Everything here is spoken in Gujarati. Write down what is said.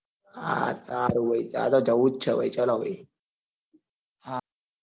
હા ભાઈ હા સારું ભાઈ જવું જ છે ભાઈ ચાલો ભાઈ